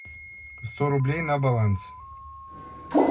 сто рублей на баланс